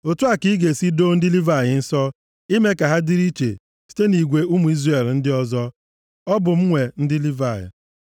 Otu a ka ị ga-esi doo ndị Livayị nsọ ime ka ha dịrị iche site nʼigwe ụmụ Izrel ndị ọzọ. Ọ bụ m nwe ndị Livayị.